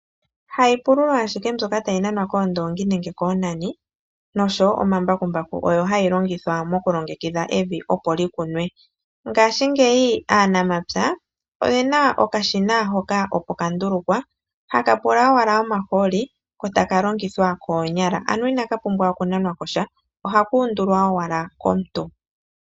Haiupululo ashike mbyoka tayi nanaa koondoongi nenge koonani noshowoo omambakumbaku ha yi longithwa mokulongekidha evi opo likunwe. Ngaashingeyi aanamapya oye na okashina hoka opo kandulukwa haka pula owala omahooli kotaka longithwa koonyala ano inaka pumbwa oku nanwa kosha oha ka undulwa owala komuntu